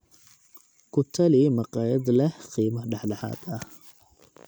ku tali makhaayad leh qiime dhexdhexaad ah